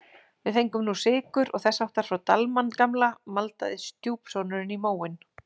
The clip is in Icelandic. Við fengum nú sykur og þess háttar frá Dalmann gamla maldaði stjúpsonurinn í móinn.